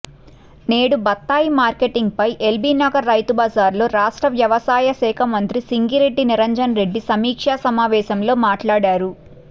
నేడు బత్తాయి మార్కెటింగ్పై ఎల్బీనగర్ రైతుబజార్లో రాష్ట్ర వ్యవసాయ శాఖ మంత్రి సింగిరెడ్డి నిరంజన్ రెడ్డి సమీక్షా సమావేశంలో మాట్లాడారు